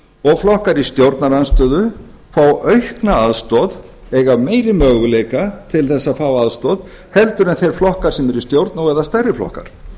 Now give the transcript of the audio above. og flokkar í stjórnarandstöðu fá aukna aðstoð eiga meiri möguleika til þess að fá aðstoð en þeir flokkar sem eru í stjórn og eða stærri flokkar